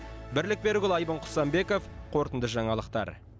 бірлік берікұлы айбын құсанбеков қорытынды жаңалықтар